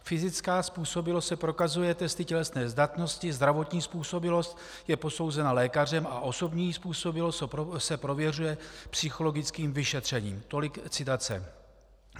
Fyzická způsobilost se prokazuje testy tělesné zdatnosti, zdravotní způsobilost je posouzena lékařem a osobní způsobilost se prověřuje psychologickým vyšetřením. Tolik citace.